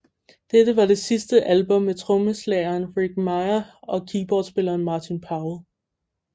Dette var det sidste album med trommeslageren Rick Miah og keyboardspilleren Martin Powell